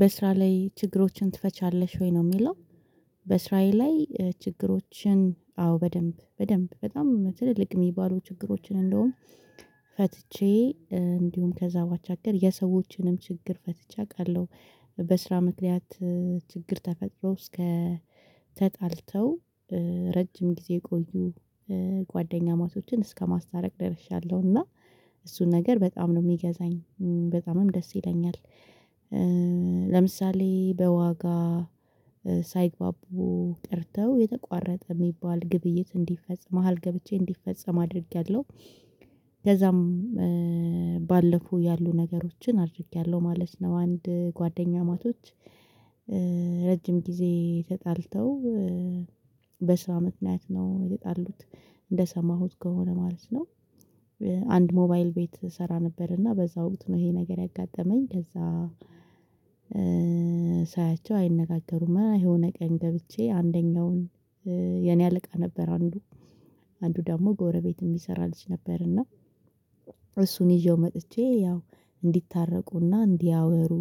በስራ ላይ ችግሮችን ትፈቻለሽ ወይ ነው የሚለው በስራዬ ላይ ችግሮችን አዎ በደንብ በደንብ በጣም ትልቅ የሚባሉ ችግሮችን እንደውም ፈትቼ እንዲሁም ከዛ ባሻገር የሰዎችንም ችግር ፈትቼ አውቃለሁ በስራ ምክንያት ችግር ተፈጥሮ ተጣልተው ረጅም ጊዜ የቆዩ ጓደኛ ማቶችን እስከማስታረቅ ደርሻለሁ እና እሱን ነገር በጣም ነው የሚገዛኝ በጣምም ደስ ይለኛል ለምሳሌ በዋጋ ሳይግባቡ ቀርተው የተቋረጠ የሚባል ግብይት እንዲፈጽም መሃል ገብቼ እንዲፈጽም አድርጌያለሁ ከዛም ባለፈው ያሉ ነገሮችን አድርጌያለሁ ማለት ነው አንድ ጓደኛው ማቶች ረጅም ጊዜ ተጣልተው በስራ ምክንያት ነው የተጣሉት እንደሰማሁት ከሆነ ማለት ነው አንድ ሞባይል ቤት እሰራ ነበር እና በዛ ወቅት ነው ይሄ ነገር ያጋጠመኝ ከዛ ሳያቸው አይነጋገሩም የሆነ ቀኝ ገብቼ አንደኛውን የኔ አለቃ ነበር አንዱ አንዱ ደግሞ ጎረቤት የሚሰራ ልጅ ነበር እና እሱን ይዤው መጥቼ ያው እንዲታረቁና እንዲያወሩ